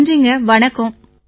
நன்றிங்க வணக்கம்